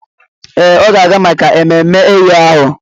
Ee, ọ ga-aga maka ememme eyo ahụ.